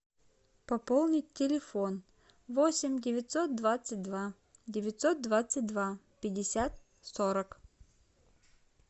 пополнить телефон восемь девятьсот двадцать два девятьсот двадцать два пятьдесят сорок